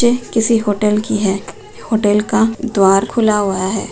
ये किसी होटल की है होटल का द्वार खुला हुआ है।